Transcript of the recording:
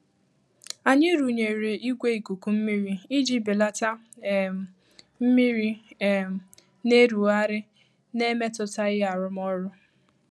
Anyị rụnyere igwe ikuku mmiri iji belata um mmiri um na-erugharị na-emetụtaghị arụmọrụ.